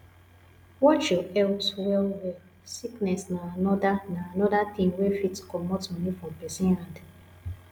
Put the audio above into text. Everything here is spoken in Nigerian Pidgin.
watch your health well well sickness na anoda na anoda thing wey fit comot money from person hand